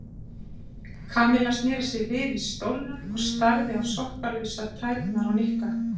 Kamilla snéri sér við í stólnum og starði á sokkalausar tærnar á Nikka.